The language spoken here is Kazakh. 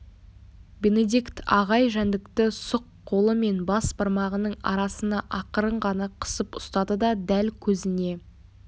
бенедикт ағай жәндікті сұқ қолы мен бас бармағының арасына ақырын ғана қысып ұстады да дәл көзіне